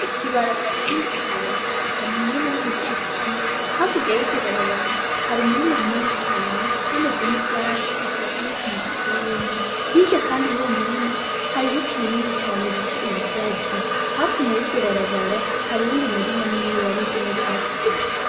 Ibarabara rinini cane ata muntu numwe ariko araricamwo, hakurya y'iryo barabara hari umurima munini cane hamezemwo ivyatsi, atakindi kintu giteyemwo. Hirya kandi y'uwo murima, hari ibiti binini cane bita ibigazi, hakuno y'iryo barabara hari uwundi murima nyene wamezemwo ivyatsi gusa.